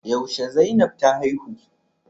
Yaushe Zainab ta haihu?